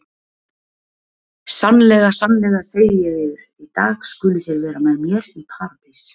Sannlega, sannlega segi ég yður, í dag skuluð þér vera með mér í Paradís.